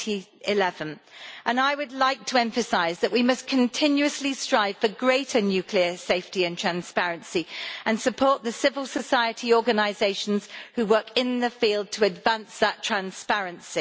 2011. I would like to emphasise that we must continuously strive for greater nuclear safety and transparency and support the civil society organisations who work in the field to advance that transparency.